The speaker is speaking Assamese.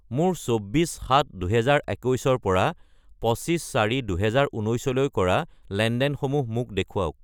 মোৰ 24-7-2021 ৰ পৰা 25-4-2019 লৈ কৰা লেনদেনসমূহ মোক দেখুৱাওক।